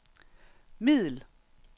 middel